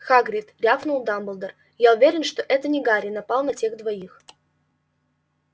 хагрид рявкнул дамблдор я уверен что это не гарри напал на тех двоих